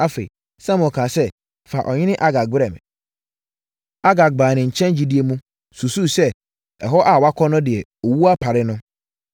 Afei, Samuel kaa sɛ, “Fa ɔhene Agag brɛ me.” Agag baa ne nkyɛn gyidie mu, susuu sɛ ɛhɔ a wakɔ no deɛ, owuo apare no.